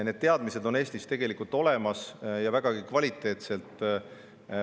Need teadmised on Eestis tegelikult olemas ja vägagi kvaliteetsed.